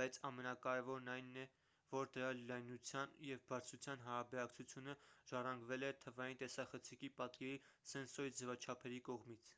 բայց ամենակարևորն այն է որ դրա լայնության և բարձրության հարաբերակցությունը ժառանգվել է թվային տեսախցիկի պատկերի սենսորի ձևաչափերի կողմից